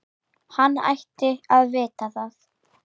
Hann ætti að vita það.